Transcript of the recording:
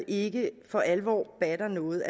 ikke for alvor batter noget